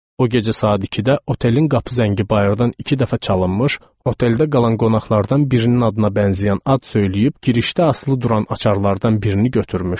O gecə saat 2-də otelin qapı zəngi bayırdan iki dəfə çalınmış, oteldə qalan qonaqlardan birinin adına bənzəyən ad söyləyib girişdə asılı duran açarlardan birini götürmüşdü.